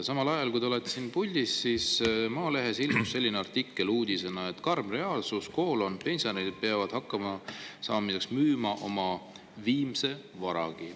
Samal ajal, kui te olete siin puldis, on Maalehes ilmunud selline artikkel, uudisena, mille pealkiri on "Karm reaalsus: pensionärid peavad hakkama saamiseks müüma oma viimse vara".